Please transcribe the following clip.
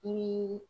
Ni